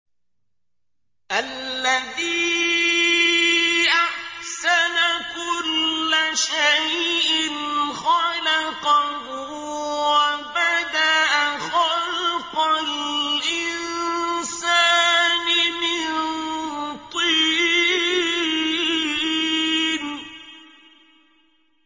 الَّذِي أَحْسَنَ كُلَّ شَيْءٍ خَلَقَهُ ۖ وَبَدَأَ خَلْقَ الْإِنسَانِ مِن طِينٍ